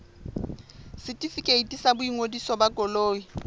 setefikeiti sa boingodiso ba koloi